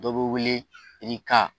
Dɔ be wele irika